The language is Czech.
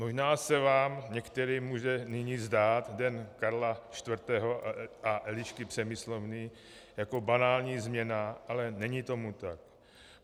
Možná se vám některým může nyní zdát Den Karla IV. a Elišky Přemyslovny jako banální změna, ale není tomu tak.